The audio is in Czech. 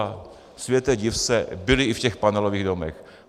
A světe div se, byli i v těch panelových domech.